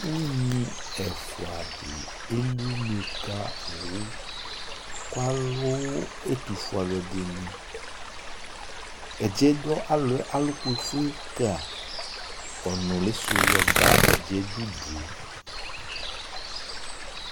Unyi ɛfʋadɩ eli une ka owu kʋ alʋ ɛtʋfue alʋɛdɩnɩ Ɛdɩɛ dʋ alɔɛ alʋkʋ ka ɔnʋlɩsʋ yɔ ba ɛdɩɛ dʋ udue